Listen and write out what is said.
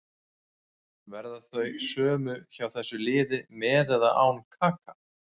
Verða þau sömu hjá þessu liði með eða án Kaka.